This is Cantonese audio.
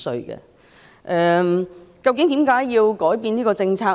為甚麼政府要改變這政策呢？